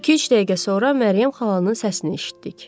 İki-üç dəqiqə sonra Məryəm xalanın səsini eşitdik.